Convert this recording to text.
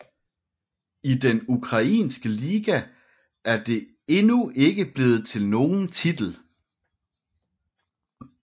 I den ukrainske liga er det endnu ikke blevet til nogen titel